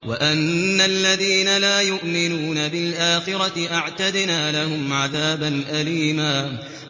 وَأَنَّ الَّذِينَ لَا يُؤْمِنُونَ بِالْآخِرَةِ أَعْتَدْنَا لَهُمْ عَذَابًا أَلِيمًا